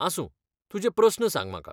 आसूं, तुजे प्रस्न सांग म्हाका.